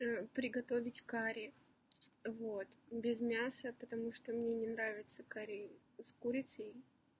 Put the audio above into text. приготовить карри вот без мяса потому что мне не нравится карри с курицей